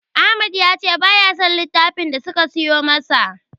Ahmad ya ce baya son littafin da suka siyo masa.